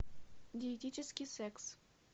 диетический секс